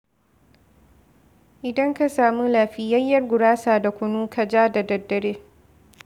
Idan ka samu lafiyayyiyar gurasa da kunu ka ja da daddare.